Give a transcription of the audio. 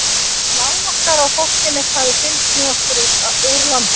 Það var lán okkar að fólkið mitt hafði fylgst með okkur úr landi.